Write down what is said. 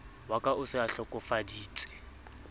wa ka o se ahlokofaditse